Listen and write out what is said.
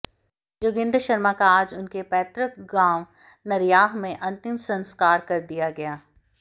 जोगिन्द्र शर्मा का आज उनके पैतृक गांव नरयाह में अंतिम संस्कार कर दिया गया